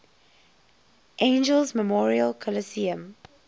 angeles memorial coliseum